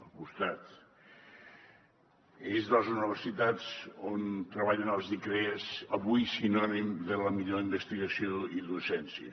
és des de les universitats on treballen els icrea avui sinònim de la millor investigació i docència